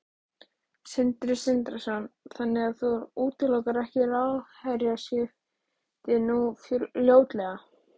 Sindri Sindrason: Þannig að þú útilokar ekki ráðherraskipti nú fljótlega?